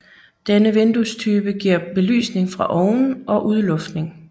Denne vinduestype giver belysning fra oven og udluftning